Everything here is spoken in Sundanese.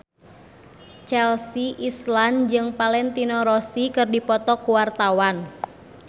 Chelsea Islan jeung Valentino Rossi keur dipoto ku wartawan